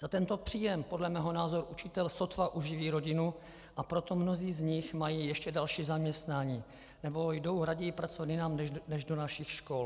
Za tento příjem podle mého názoru učitel sotva uživí rodinu, a proto mnozí z nich mají ještě další zaměstnání nebo jdou raději pracovat jinam než do našich škol.